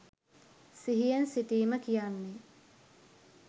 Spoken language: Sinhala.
සිහියෙන් සිටීම කියන්නේ.